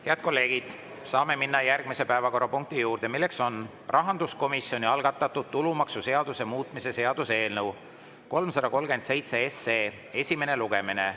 Head kolleegid, saame minna järgmise päevakorrapunkti juurde, milleks on rahanduskomisjoni algatatud tulumaksuseaduse muutmise seaduse eelnõu 337 esimene lugemine.